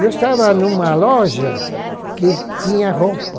Eu estava em uma loja que tinha roupa.